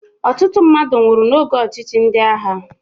Ọtụtụ mmadụ nwụrụ n'oge ọchịchị ndị agha